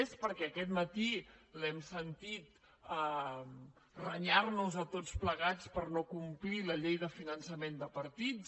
més perquè aquest matí l’hem sentit renyar nos a tots plegats per no complir la llei de finançament de partits